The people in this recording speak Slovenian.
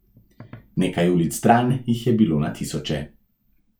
Nekaj ulic stran jih je bilo na tisoče.